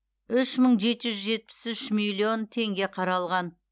үш мың жеті жүз жетпіс үш миллион теңге қаралған